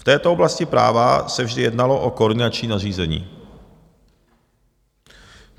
V této oblasti práva se vždy jednalo o koordinační nařízení.